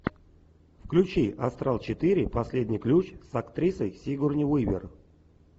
включи астрал четыре последний ключ с актрисой сигурни уивер